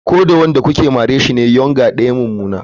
Ko da onrn da kuke mare shi ne yournger daya mu mummuna.